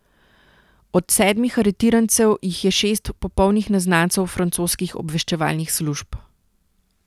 Od sedmih aretirancev jih je šest popolnih neznancev francoskih obveščevalnih služb.